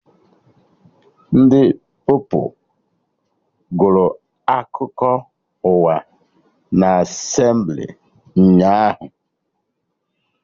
Ndị Pupilụ gụrụ akụkọ ụwa na Asemblị ụnyaahụ